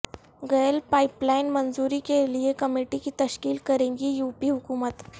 گیل pipeline منظوری کیلئے committee کی تشکیل کرے گی یو پی حکومت